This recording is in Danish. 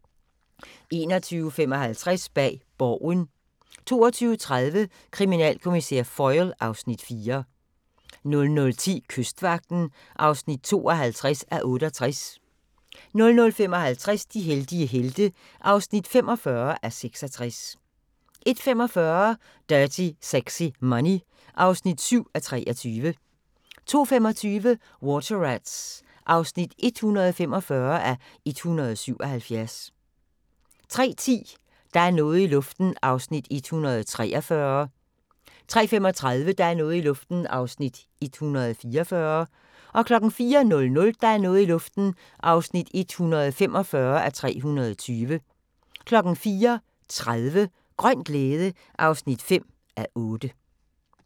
21:55: Bag Borgen 22:30: Kriminalkommissær Foyle (Afs. 4) 00:10: Kystvagten (52:68) 00:55: De heldige helte (45:66) 01:45: Dirty Sexy Money (7:23) 02:25: Water Rats (145:177) 03:10: Der er noget i luften (143:320) 03:35: Der er noget i luften (144:320) 04:00: Der er noget i luften (145:320) 04:30: Grøn glæde (5:8)